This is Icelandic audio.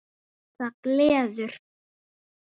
Það gleður